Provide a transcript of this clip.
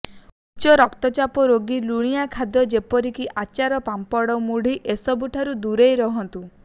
ଉଚ୍ଚ ରକ୍ତଚାପ ରୋଗୀ ଲୁଣିଆ ଖାଦ୍ୟ ଯେପରିକି ଆଚାର ପାମ୍ପଡ଼ ମୁଡ୍କି ଏସବୁଠାରୁ ଦୂରେଇ ରୁହନ୍ତୁ